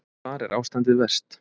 Hvar er ástandið verst?